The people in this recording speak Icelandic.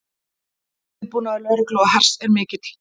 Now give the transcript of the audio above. Viðbúnaður lögreglu og hers er mikill